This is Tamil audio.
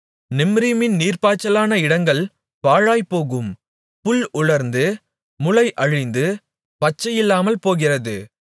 நிம்ரீமின் நீர்ப்பாய்ச்சலான இடங்கள் பாழாய்ப்போகும் புல் உலர்ந்து முளை அழிந்து பச்சையில்லாமல் போகிறது